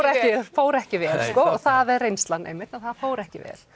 fór ekki vel það er reynslan einmitt að það fór ekki vel